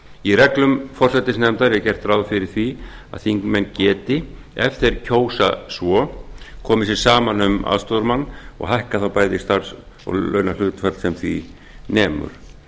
í reglum forsætisnefndar er gert ráð fyrir því að þingmenn geti ef þeir kjósa svo komið sér saman um aðstoðarmann og hækkar þá bæði starfs og launahlutfall sem því nemur